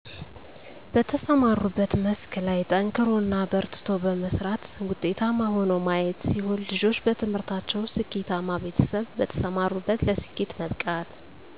በተሰማሩበት መስክ ላይ ጠንክሮ እና በርትቶ በመስራት ውጤታማ ሆኖ ማየት ሲሆን ልጆች በትምህርታቸው ስኬተማ ቤተሰብ በተሰማሩበት ለስኬት መብቃት